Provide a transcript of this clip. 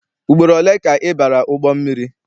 Ugboro ole ka ị bara ụgbọ mmiri?